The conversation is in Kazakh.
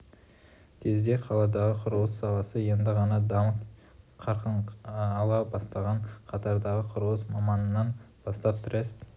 кезде қаладағы құрылыс саласы енді ғана дамып қарқын ала бастаған қатардағы құрылыс маманынан бастап трест